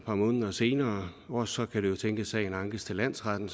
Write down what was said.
par måneder senere og så kan det jo tænkes at sagen ankes til landsretten